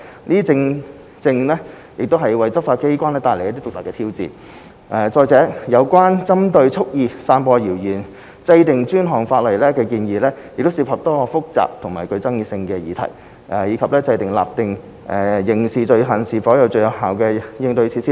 這正正為執法機關帶來獨特的挑戰，再者，有關為針對蓄意散播謠言制定專項法例的建議，涉及多項複雜和具爭議性的議題，以及訂立特定刑事罪行是否最有效的應對措施等。